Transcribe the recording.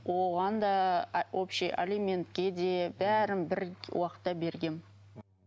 оған да общий алиментке де бәрін бір уақытта бергенмін